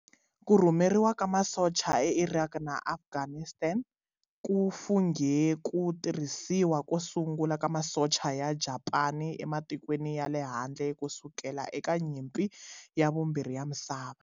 Ku rhumeriwa ka masocha eIraq na Afghanistan ku funghe ku tirhisiwa ko sungula ka masocha ya Japani ematikweni ya le handle ku sukela eka Nyimpi ya Vumbirhi ya Misava.